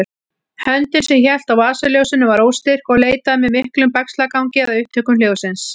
Höndin sem hélt á vasaljósinu var óstyrk og leitaði með miklum bægslagangi að upptökum hljóðsins.